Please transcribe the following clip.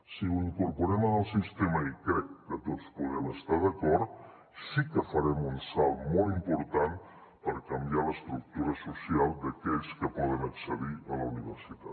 si ho incorporem en el sistema i crec que tots hi podem estar d’acord sí que farem un salt molt important per canviar l’estructura social d’aquells que poden accedir a la universitat